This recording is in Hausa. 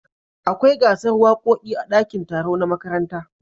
Akwai gasar wakoki a dakin taro na makaranta